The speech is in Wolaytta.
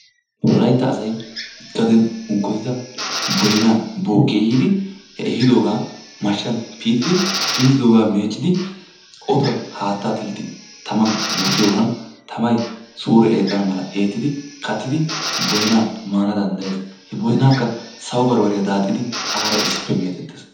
Wolaytta asay gaden boynaa unkkoyidoogaa ehiidi he ehiidoogaa mashshan piitidi, piitidoogaa meeccidi, otuwan haattaa tigidi taman eettiyogan tamay suure eexxana mala eettidi, kattidi boynaa maana danddayees. He boynaakka sawo bambbariya daaxxin aara issippe meetettees.